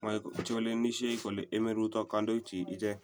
Mwoe chelewenishei kole emei Ruto kondoichi ichek